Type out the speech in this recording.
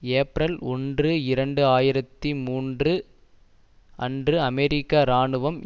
April ஒன்று இரண்டு ஆயிரத்தி மூன்று அன்று அமெரிக்க இராணுவம்